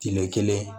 Kile kelen